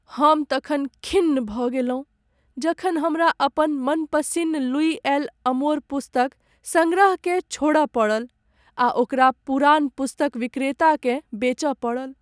हम तखन खिन्न भऽ गेलहुँ जखन हमरा अपन मनपसिन्न लुई एल'अमोर पुस्तक सङ्ग्रहकेँ छोड़य पड़ल आ ओकरा पुरान पुस्तक विक्रेताकेँ बेचय पड़ल।